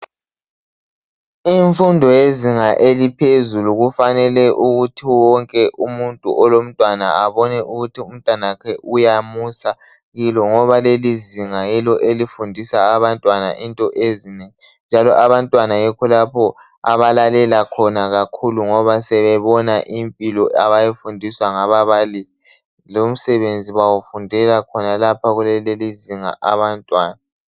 Imfundo yezinga eliphezulu kufanele ukuthi wonke umuntu olomntwana abone ukuthi umntanakhe uyamusa kilo ngoba leli zinga yilo elifundisa abantwana into ezinengi njalo abantwana yikho lapho abalalela khona kakhulu ngoba sebebona impilo abayifundiswa ngababalisi lomsebenzi bawufundela khonalapha kulelelizinga abantwana.